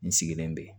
N sigilen be yen